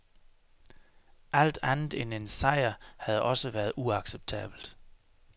Alt andet end en sejr havde også været uacceptabelt.